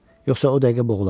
Yoxsa o dəqiqə boğular.